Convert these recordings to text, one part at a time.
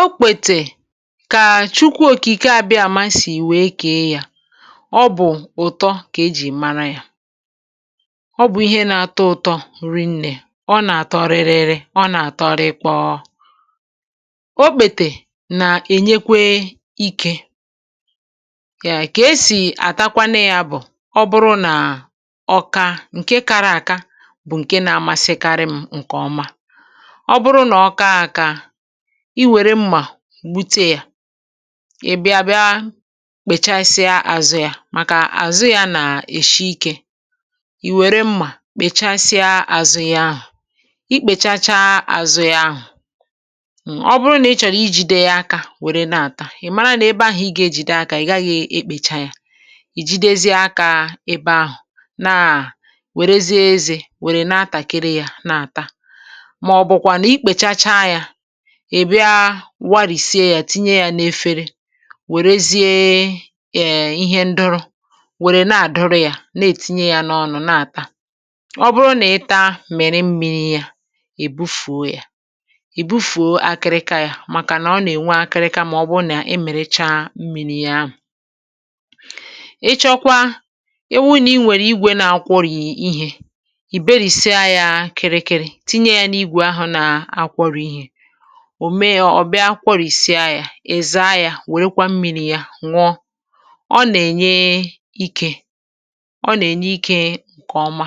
Okpètè kà Chukwa òkike àbịa àma sì wèe kà e yȧ. Ọ bụ̀ ụ̀tọ kà ejì mara yȧ, ọ bụ̀ ihe nȧ-atọ ụ̀tọ rinnė, ọ nà-àtọ ririri, ọ nà-àtọ; rikpọọ. Okpètè nà-ènyekwe ikė yà. Kà esì àtakwanụ yȧ bụ̀: ọ bụrụ nà ọka, ǹke kara àka bụ̀ ǹke nȧ-amasịkarị m, ǹkè ọma. Ọ bụrụ na ọka aka, iwere mmà gbute yȧ, ị bịa bịa kpechasịa àzụ yȧ, Màkà àzụ yȧ nà èshi ikė, ì wère mmà kpechasịa àzụ yȧ ahụ̀. Ì kpechachaa àzụ yȧ ahụ̀, um ọ bụrụ nà ị chọ̀rọ̀ ijìde yȧ aka, wère na-àta, Ị̀ mara nà ebe ahụ̀ ị gà-ejìde aka, ị̀ gaghị̇ ekpècha yȧ. Ì jidezie aka ebe ahụ̀, naà wèrezie ezì, wèrè na-atàkịrị yȧ na-àta. Màọ̀bụ̀kwa ikpechachaa, e bịa warìsie yȧ, tinye yȧ n’efere, wèrezie eeh ihe ndụrụ, wère na-àdụrụ yȧ, na-ètinye yȧ n’ọnụ̇, na-àta. Ọ bụrụ nà ị taa, mèrè mmi̇ri̇ yȧ; è bufùo yȧ, è bufùo akịrịkà yȧ, màkà nà ọ nà-ènwe akịrịkà, mà ọ bụrụ nà e mèrè chaa mmi̇ri̇ ya ahụ̀. Ịchọ kwa, ewu nì i nwèrè igwè na-akwọrị̀ ihe. Ìberìsie yȧ kịrịkịrị, tinye ya na ìgwè ahụ na akwori ihe. Ọ mee yȧ, ọ̀ bịa kworìsịa yȧ, èza yȧ, wèrèkwa mmi̇ri̇ yȧ nwọ. Ọ nà-ènye ikė, ọ nà-ènye ikė, ǹkè ọma,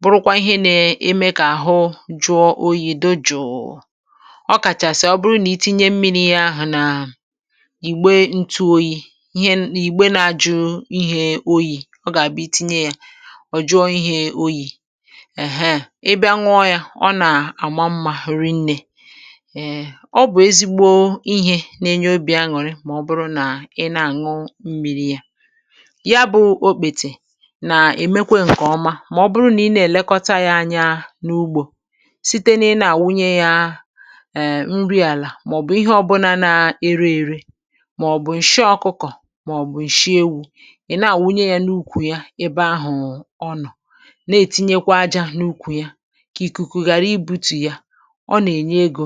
bụrụkwa ihe na-eme kà àhụ jụọ oyì, dochùù. Ọ̀ Kàchàsị̀a ọ bụrụ nà i tinye mmi̇ri̇ ahụ̀ nà ị̀ gbe ntụ oyi̇ ihe nà ị gbe na-ajụ ihė oyi̇, ọ gà-àbụ itinye yȧ, ọ̀ jụọ ihė oyi̇. Èheè, ị bịa nwụọ yȧ, ọ nà àmà mmȧ rinne. Èè, ọ bụ̀ ezigbo ihė nà-enye obì aṅụ̀rị, Mà ọ bụrụ nà ị na-àñụ m̀miri yà. Ya bụ̇ okpètì, nà-èmekwe ǹkè ọma. Mà ọ bụrụ nà ị na-èlekọta yȧ anya n’ugbȯ, site n’ina àwụnye yȧ èè nri àlà, màọ̀bụ̀ ihe ọbụna nȧ-ere ère, màọ̀bụ̀ ǹshị ọkụkọ̀, màọ̀bụ̀ ǹshị ewu̇ ị̀ na-àwụnye yȧ n’ukwù yà, ebe ahụ̀ ọnụ̇ na-ètinyekwa ajȧ n’ukwù ya, kà ìkùkù ghàra ibu̇tù yà. Ọ̀ na enye ego.